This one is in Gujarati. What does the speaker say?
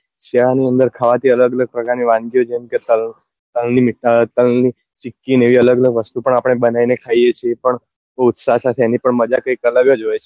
શિયાળા ની અંદર અલગ પ્રકાર ની વાનગી ઓ જેમ કે તલ તલ ની મીઠાઈ તલ ની ચીક્કી એવી અલગ અલગ વસ્તુ પણ અઆપડે બનાવી ને ખાઈએ છીએ પણ બઉ ઉત્સાહ સાથે એની પણ મજા કઈક અલગ જ હોય છે